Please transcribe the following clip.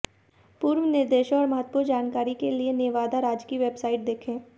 पूर्ण निर्देशों और महत्वपूर्ण जानकारी के लिए नेवादा राज्य की वेबसाइट देखें